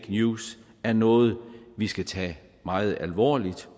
news er noget vi skal tage meget alvorligt